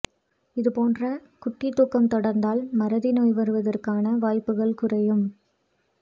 இது போன்ற குட்டித்தூக்கம் தொடர்ந்தால் மறதி நோய் வருவதற்கான வாய்ப்புகள் குறையும்